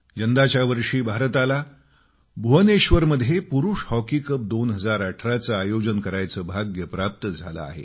यंदाच्या वर्षी भारताला भुवनेश्वरमध्ये पुरुष हॉकी कप 2018 चं आयोजन करायचं भाग्य प्राप्त झालं आहे